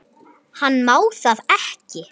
Hann má það ekki.